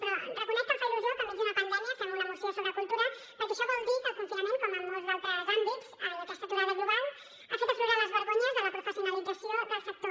però reconec que em fa il·lusió que enmig d’una pandèmia fem una moció sobre cultura perquè això vol dir que el confinament com en molts d’altres àmbits i aquesta aturada global han fet aflorar les vergonyes de la professionalització del sector